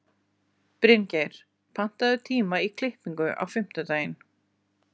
Bryngeir, pantaðu tíma í klippingu á fimmtudaginn.